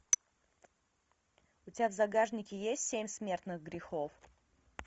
у тебя в загашнике есть семь смертных грехов